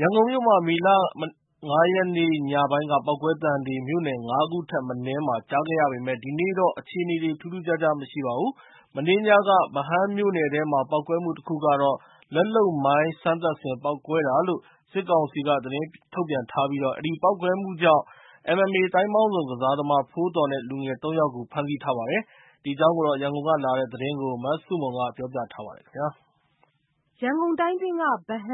ရန်ကုန်မြို့မှာ မနေ့ မေလ ၅ ရက်နေ့ ညပိုင်းက ပေါက်ကွဲသံတွေ မြို့နယ် ၅ ခုထက်မနည်းမှာ ကြားခဲ့ရပေမဲ့ ဒီနေ့တော့ အခြေအနေ ထူးထူးခြားခြား မရှိပါဘူး။ မနေ့ညက ဗဟန်းမြို့နယ်ထဲမှာ ပေါက်ကွဲမှုတခုကတော့ လက်လုပ်မိုင်းစမ်းသပ်စဉ် ပေါက်ကွဲတာလို့ စစ်ကောင်စီက သတင်းထုတ်ပြန်ထားပြီး အဲဒီပေါက်ကွဲမှုကြောင့် MMA သိုင်းပေါင်းစုံကစားသမား ဖိုးသော်နဲ့ လူငယ် ၃ ယောက်ကို ဖမ်းဆီးထားပါတယ်။ ဒီအကြောင်း ရန်ကုန်ကလာတဲ့သတင်းကို မဆုမွန်က ပြောပြထားပါတယ်။ ရန်ကုန်က ဗဟန်း၊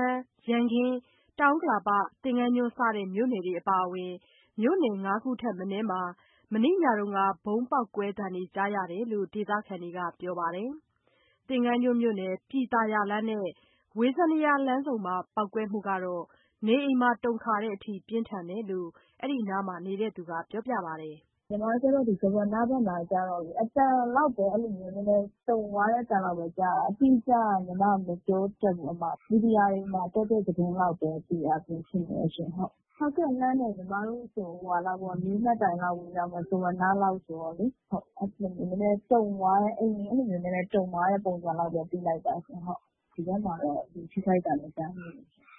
ရန်ကင်း၊ တောင်ဥက္ကလာ၊ သင်္ကန်းကျွန်း စတဲ့မြို့နယ်တွေအပါအဝင် မြို့နယ် ၅ ခုထက်မနည်းမှာ မနေ့ညက ဗုံးပေါက်ကွဲသံတွေ ကြားရတယ်လို့ ဒေသခံတွေက ပြောပါတယ်။ သင်္ဃန်းကျွန်းမြို့နယ် ပြည်သာယာလမ်းနဲ့ ဝေဇယန္တာလမ်းဆုံမှာ ပေါက်ကွဲမှုကတော့ နေအိမ်ပါ တုန်ခါတဲ့အထိ ပြင်းထန်တယ်လို့ အဲဒီနားမှနေသူက ပြောပါတယ်။ “ညီမကျတော့ ဒီ ဇဝနဘက်မှာကျတော့လေ အသံလောက်ပဲ အဲ့ဒီလိုမျိုး နည်းနည်းတုန်သွားတဲ့ အသံလောက်ပဲ ကြားရတယ်။ အတိအကျက ညီမ မပြောတတ်ဘူး။ မီဒီယာတွေမှာတက်တဲ့ သတင်းလောက်ပဲ သိရတာရှိတယ်ရှင့်။ လှမ်းတယ် ညီမတို့ဆို ၄ မှတ်တိုင်လောက်ဝေးတယ် ဇဝနလောက်ဆိုတော့လေ။ နည်းနည်းတုန်သွားတယ်။ အိမ်တွေ အဲ့ဒီလိုမျိုး နည်းနည်းတုန်သွားတဲ့ ပုံစံလောက်ပဲ သိလိုက်တာရှင့်။ ဒီဘက်မှာတော့ လူအထိအခိုက်မကြားမိဘူးရှင့်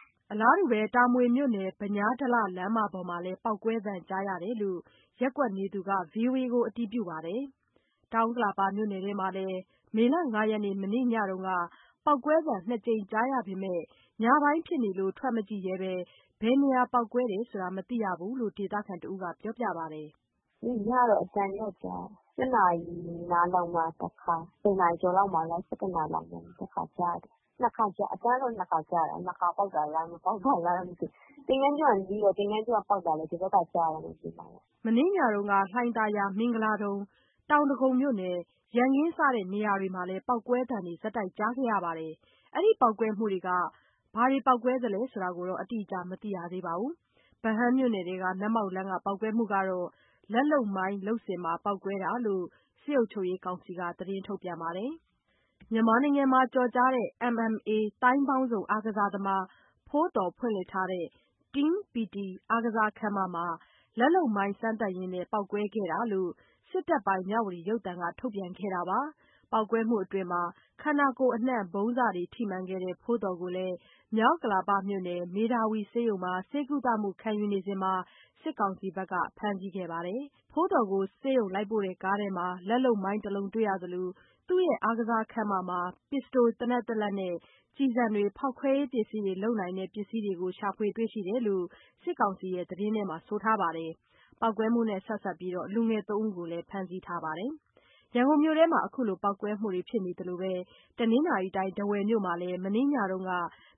။” တာမွေမြို့နယ် ဗညားဒလ လမ်းမပေါ်မှာလည်း ပေါက်ကွဲသံကြားတယ်လို့ ရပ်ကွက်နေသူက ဗွီအိုအေကို အတည်ပြုပါတယ်။ တောင်ဥက္ကလာပမြို့နယ်ထဲမှာလည်း မေလ ၅ ရက် မနေ့ညက ပေါက်ကွဲသံနှစ်ကြိမ် ကြားရပေမယ့် ညပိုင်းဖြစ်လို့ ထွက်မကြည့်ရဲဘဲ ဘယ်နေရာပေါက်ကွဲတယ်ဆိုတာ မသိရဘူးလို့ ဒေသခံတစ်ဦးက ပြောပါတယ်။ “ညတော့ အသံတော့ ကြားတယ်။ ၈ နာရီနားလောက်မှာ တစ်ခါ၊ ၁၀ နာရီကျော်လောက်မှာလား၊ ၁၁ နာရီလောက်မှာလား တစ်ခါ ကြားတယ်၊ နှစ်ခါကြားတယ် အသံတော့ နှစ်ခါကြားတယ် နှစ်ခါပေါက်တာလား၊ မပေါက်တာလားတော့ မသိဘူး။ သင်္ဃန်းကျွန်းတော့ နီးတော့ သင်္ဃန်းကျွန်းက ပေါက်တာလည်း ဒီဘက်ကကြားတယ်နဲ့နေမှာပေ့ါ။” မနေ့ညက လှိုင်ယာသာ၊ မင်္ဂလာဒုံ၊ တောင်ဒဂုံ၊ ရန်ကင်းစတဲ့နေရာတွေမှာလည်း ပေါက်ကွဲသံတွေကြားခဲ့ကြရပါတယ်။ အဲဒီပေါက်ကွဲမှုတွေက ဘာပေါက်ကွဲတာလဲဆိုတာ အတိအကျ မသိရသေးပါဘူး။ ဗဟန်းမြို့နယ်ထဲက နက်မောက်လမ်းမှာ ပေါက်ကွဲမှုကတော့ လက်လုပ်မိုင်း လုပ်စဉ် ပေါက်ကွဲတာလို့ စစ်ကောင်စီက သတင်းထုတ်ပြန်ပါတယ်။ မြန်မာနိုင်ငံမှာ ကျော်ကြားတဲ့ MMA သိုင်းပေါင်းစုံ အားကစားသမား ဖိုးသော် ဖွင့်လှစ်ထားတဲ့ Team PT အားကစားခန်းမမှာ လက်လုပ်မိုင်းစမ်းသပ်ရင်း ပေါက်ကွဲခဲ့တာလို့ စစ်တပ်ပိုင်မြဝတီရုပ်သံကထုတ်ပြန်ခဲ့တာပါ။ ပေါက်ကွဲမှုအတွင်း ခန္ဓာကိုယ်အနှံ့ ဗုံးစတွေထိမှန်ခဲ့တဲ့ ဖိုးသော်ကိုလည်း မြောက်ဥက္ကလာပမြို့နယ် မေဓါဝီဆေးရုံမှာ ဆေးကုသမှု ခံယူနေစဉ် စစ်ကောင်စီက ဖမ်းဆီးခဲ့ပါတယ်။ ဖိုးသော်ကို ဆေးရုံလိုက်ပို့တဲ့ကားထဲမှာ လက်လုပ်မိုင်းတစ်လုံးတွေ့ရသလို သူ့ရဲ့ အားကစားခန်းမမှာ ပစ္စတိုသေနတ်တလက်နဲ့ ကျည်ဆံတွေ၊ ဖောက်ခွဲရေးပစ္စည်းတွေလုပ်နိုင်တဲ့ ပစ္စည်းတွေကို ရှာတွေ့တယ်လို့လည်း စစ်ကောင်စီရဲ့ သတင်းထဲမှာ ဆိုပါတယ်။ ပေါက်ကွဲမှုနဲ့ဆက်စပ်ပြီး လူငယ် ၃ ယောက်ကိုလည်း ဖမ်းဆီးထားပါတယ်။ ရန်ကုန်မြို့ထဲမှာ ခုလို ပေါက်ကွဲမှုတွေ ဖြစ်နေသလိုပဲ တနင်္သာရီတိုင်း ထားဝယ်မြို့မှာလည်း မနေ့ညက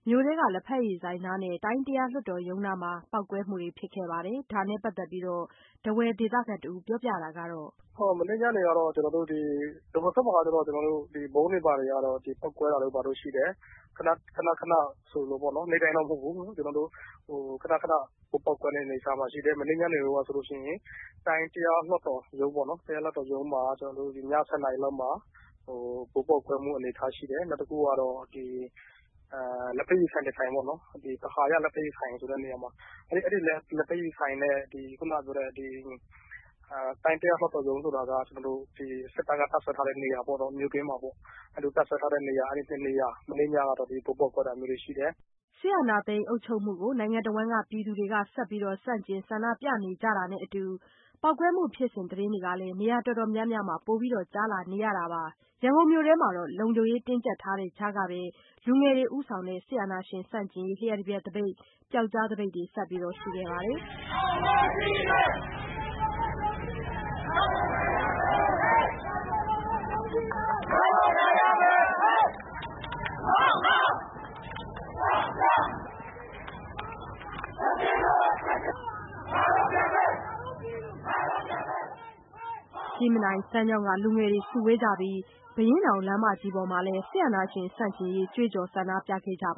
မြို့ထဲ လက်ဖက်ရည်ဆိုင်နားနဲ့ တိုင်းတရားလွှတ်တော်နားမှာ ပေါက်ကွဲမှုတွေဖြစ်ခဲ့ပါတယ်။ ဒါနဲ့ပတ်သက်ပြီး ဒေသခံ တစ်ဦးပြောတာက - “မနေ့ညနေကတော့ ကျနော်တို့ ဒီ ထားဝယ်ဘက်မှာကျ ကျနော်တို့ ဗုံးတွေ ဘာတွေကတော့ ပေါက်ကွဲတာတို့ ဘာတို့ ရှိတယ်။ ခဏခဏဆိုသလိုပေါ့နော်။ နေ့တိုင်းတော့ မဟုတ်ဘူး။ ကျနော်တို့ ခဏခဏဗုံးပေါက်ကွဲတဲ့ အနေအထားမှာရှိတယ်။ မနေ့ညနေတုန်းကဆိုလို့ရှိရင် တိုင်းတရားလွှတ်တော်ရုံးပေါ့နော်... တရားလွှတ်တော်မှာ ကျတော့ ည ၁၀ နာရီလောက်မှာ ဗုံးပေါက်ကွဲမှု အနေအထားရှိတယ်။ နောက်တစ်ခုကတော့ လက်ဖက်ရည်ဆိုင် တစ်ဆိုင်ပေါ့နော်။ အာဟာရ လက်ဖက်ရည်ဆိုင်ဆိုတဲ့နေရာမှာ အဲ့ဒီလက်ဖက်ရည်ဆိုင်နဲ့ ခုဏပြောတဲ့ ဒီတိုင်းတရားလွှတ်တော်ရုံးဆိုတာက စစ်သားက တပ်စွဲထားတဲ့ နေရာပေါ့ မြို့ထဲမှာပေါ့။ အဲ့ဒီလိုတပ်စွဲထားတဲ့နေရာ နှစ်နေရာ မနေ့ညက ဗုံးပေါက်ကွဲတာမျိုးရှိတယ်။” စစ်အာဏာသိမ်းအုပ်ချုပ်မှုကို ပြည်သူတွေ ဆက်ပြီး ဆန္ဒပြဆန့်ကျင်နေကြတာနဲ့အတူ ပေါက်ကွဲတဲ့ သတင်းတွေ နေရာတော်တော်များများမှာ ပိုပြီးကြားလာနေရတာပါ။ ရန်ကုန်မြို့မှာ လုံခြုံရေးတင်းကြပ်ထားတဲ့ကြားက လူငယ်တွေဦးဆောင်တဲ့ စစ်အာဏာရှင်ဆန့်ကျင်ရေး လ ျှပ်တပြက်သပိတ်၊ ပြောက်ကျားသပိတ်တွေ ဆက်ရှိခဲ့ပါတယ်။ ကြည့်မြင်တိုင်၊ စမ်းချောင်းက လူငယ်တွေစုဝေးကြပြီး ဘုရင့်နောင်လမ်းမကြီးပေါ်မှာလည်း စစ်အာဏာရှင်ဆန့်ကျင်ရေး ကြွေးကြော်ဆန္ဒပြခဲ့ကြပါ